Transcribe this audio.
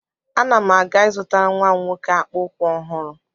Ana m aga ị zụtara nwa m nwoke akpa ụkwụ ọhụrụ.